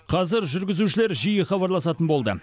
қазір жүргізушілер жиі хабарласатын болды